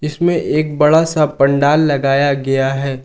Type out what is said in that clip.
इसमें एक बड़ा सा पंडाल लगाया गया है।